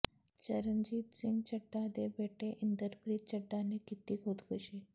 ਚਰਨਜੀਤ ਸਿੰਘ ਚੱਢਾ ਦੇ ਬੇਟੇ ਇੰਦਰਪ੍ਰੀਤ ਚੱਢਾ ਨੇ ਕੀਤੀ ਖੁਦਕੁਸ਼ੀ